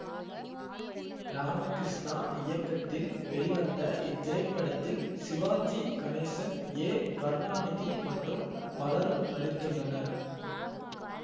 ராமகிருஷ்ணா இயக்கத்தில் வெளிவந்த இத்திரைப்படத்தில் சிவாஜி கணேசன் ஏ கருணாநிதி மற்றும் பலரும் நடித்துள்ளனர்